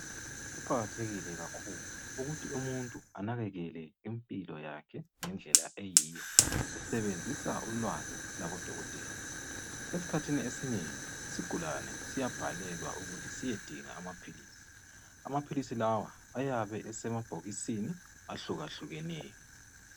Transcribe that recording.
Kuqakathekile kakhulu ukuthi umuntu anakakele impilo yakhe ngendlela eyiyo esebenzisa ulwazi lwabodokotela. Esikhathini esinengi isigulane siyabhalelwa ukuthi siyedinga amaphilisi. Amaphilisi lawa ayabe esemabhokisini ahlukahlukeneyo.